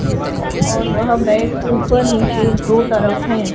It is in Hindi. और वह बेड ऊपर नीचे दो तरफ है।